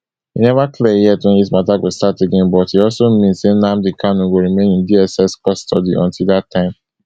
e neva clear yet wen dis matter go start again but e also mean say nnamdi kanu go remain in dss custody until dat time